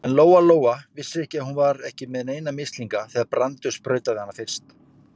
En Lóa-Lóa vissi að hún var ekki með neina mislinga þegar Brandur sprautaði hana fyrst.